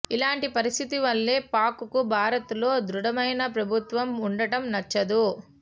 ఇలాంటి పరిస్థితి వల్లే పాక్ కు భారత్ లో ధృఢమైన ప్రభుత్వం వుండటం నచ్చదు